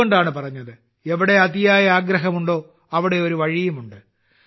അതുകൊണ്ടാണ് പറഞ്ഞത് എവിടെ അതിയായ അഗ്രഹമുണ്ടോ അവിടെ ഒരു വഴിയുമുണ്ട്